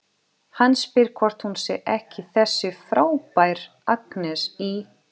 Hann spyr hvort hún sé ekki þessi frábæra Agnes í